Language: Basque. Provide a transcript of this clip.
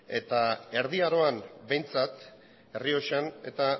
eta erdi aroan behintzat errioxan eta